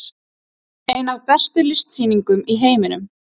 Ein af bestu listsýningum í heiminum